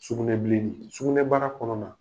Sugunɛbilennin sugunɛbara kɔnɔna na